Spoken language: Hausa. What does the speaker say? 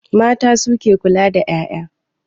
Mata su ke kula da 'ya'ya.